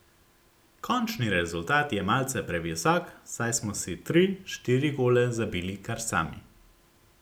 Končni rezultat je malce previsok, saj smo si tri, štiri gole zabili kar sami.